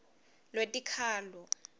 lwetikhalo